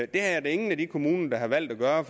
det er der ingen af de kommuner der har valgt at gøre